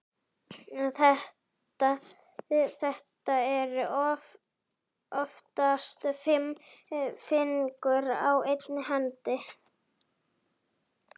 Það eru oftast fimm fingur á einni hendi.